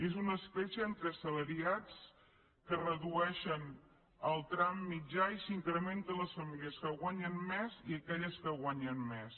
és una escletxa entre assalariats que redueixen el tram mitjà i s’incrementen les famílies que guanyen més i aquelles que guanyen més